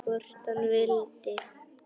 Hvort hann vildi!